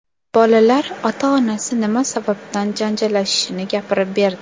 Bolalar ota-onasi nima sababdan janjallashishini gapirib berdi .